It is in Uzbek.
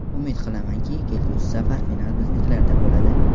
Umid qilamanki, kelgusi safar final biznikilarda bo‘ladi.